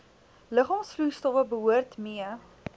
liggaamsvloeistowwe behoort mee